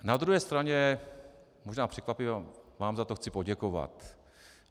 Na druhé straně, možná překvapivě, vám za to chci poděkovat.